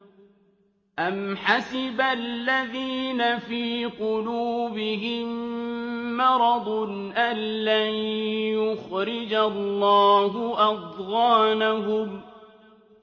أَمْ حَسِبَ الَّذِينَ فِي قُلُوبِهِم مَّرَضٌ أَن لَّن يُخْرِجَ اللَّهُ أَضْغَانَهُمْ